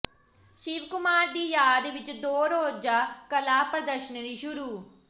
ਸ਼ਿਵ ਕੁਮਾਰ ਦੀ ਯਾਦ ਵਿੱਚ ਦੋ ਰੋਜ਼ਾ ਕਲਾ ਪ੍ਰਦਰਸ਼ਨੀ ਸ਼ੁਰੂ